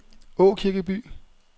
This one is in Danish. Aakirkeby